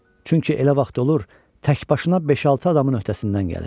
Çünki elə vaxt olur, təkbaşına beş-altı adamın öhdəsindən gəlir.